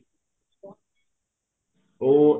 ਉਹ